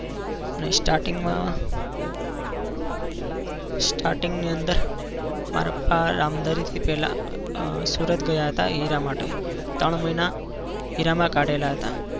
અને starting માં starting ની અંદર મારા પપ્પા રામધારીથી પહેલા અ સુરત ગયા હતા હીરા માટે ત્રણ મહિના હીરામાં કાઢેલા હતા.